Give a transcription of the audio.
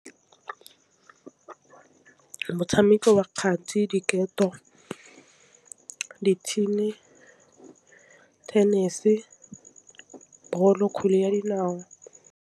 Motšhameko wa kgati, diketo, dithini, tennis, balo, kgwele ya dinao.